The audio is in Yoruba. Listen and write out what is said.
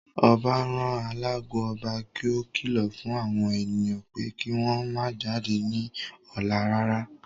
Ọbá rán alágo ọba kí ó kìlọ̀ fún àwọn ènìyàn pé kí wọ́n ó má jáde ní ọ̀la rárá